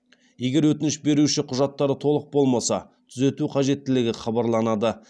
егер өтініш беруші құжаттары толық болмаса түзету қажеттігі хабарланады